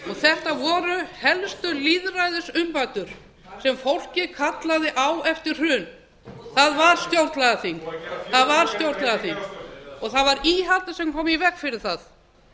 þetta voru helstu lýðræðisumbætur sem fólkið kallaði á eftir hrun það var stjórnlagaþing búið að gera tilraun til þess og það var íhaldið sem kom í veg fyrir það